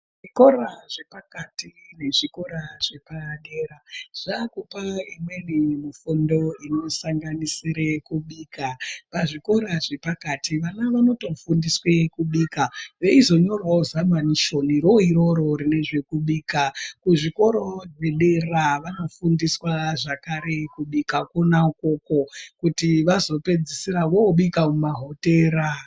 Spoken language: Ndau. Zvikora zvepakati nezvikora zvepadera zvakupa imweni mifundo inosanganisire kubika. Pazvikora zvepakati vana vanotofundiswa kubika veizonyorawo zamanisheni rona iroro rekubika. Kuzvikoro zvedera vanofundiswa zvakare kubika kwona ikoko kuti vazopedzisira vobika muma hotera.